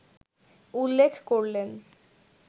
উল্লেখ করলেন